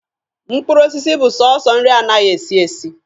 Mkpụrụ osisi bụ sọsọ nri anaghị esi esi.